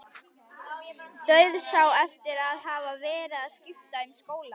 Dauðsá eftir að hafa verið að skipta um skóla.